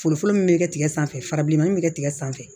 Foro min bɛ kɛ tigɛ sanfɛ fara bilemanin bɛ kɛ tigɛ sanfɛ